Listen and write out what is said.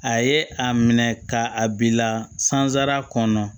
A ye a minɛ ka a bila sansara kɔnɔ